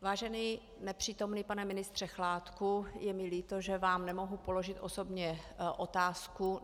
Vážený nepřítomný pane ministře Chládku, je mi líto, že vám nemohu položit osobně otázku.